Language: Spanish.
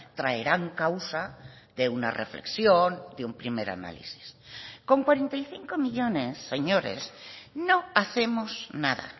traerán causa de una reflexión de un primer análisis con cuarenta y cinco millónes señores no hacemos nada